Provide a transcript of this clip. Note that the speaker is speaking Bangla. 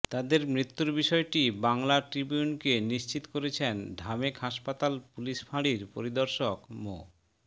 তাদের মৃত্যুর বিষয়টি বাংলা ট্রিবিউনকে নিশ্চিত করেছেন ঢামেক হাসপাতাল পুলিশ ফাঁড়ির পরিদর্শক মো